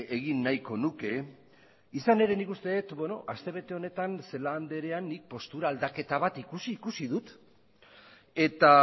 egin nahiko nuke izan ere nik uste dut aste bete honetan celaá andrea nik postura aldaketa bat ikusi ikusi dut eta